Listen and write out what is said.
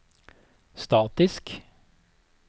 statisk